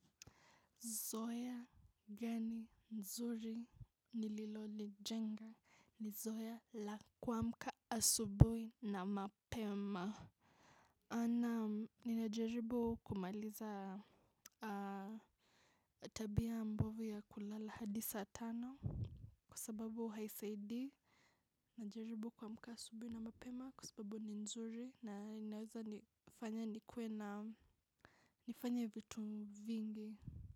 Zoea gani nzuri nililo li jenga ni zoea la kuamka asubui na mapema. A naam ninajaribu kumaliza tabia mbovu ya kulala hadi saa tano. Kwa sababu haisaidii. Najaribu kuamka asubui na mapema kwa sababu ni nzuri na ninaweza nifanya nikuwe na nifanye vitu vingi.